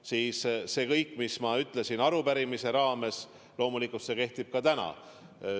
Kõik see, mis ma ütlesin arupärimisele vastates, loomulikult kehtib ka täna.